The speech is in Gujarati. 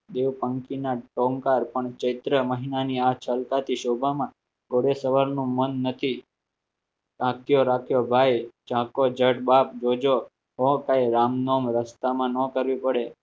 દેવ પંખી ના આ ચલતા થી શોભા માં ટહુકાર પણ ચૈત્ર મહિનાની આ ચાલતા થી શોભામાં ઘોડે સવારનો મન નથી કાંતિયો રાખ્યો ભાઇ રસ્તામાં ન કરવી પડે